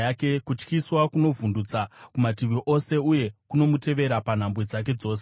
Kutyisa kunomuvhundutsa kumativi ose, uye kunomuteverera panhambwe dzake dzose.